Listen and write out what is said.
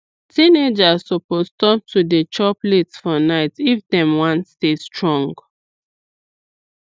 teenagers suppose stop to dey chop late for night if dem wan stay strong